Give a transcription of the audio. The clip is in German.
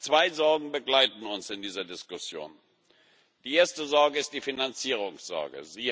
Zwei Sorgen begleiten uns in dieser Diskussion Die erste Sorge ist die Finanzierungssorge.